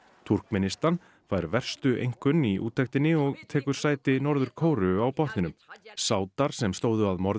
Túrkmenistan fær verstu einkunn í úttektinni og tekur sæti Norður Kóreu á botninum sádar sem stóðu að morði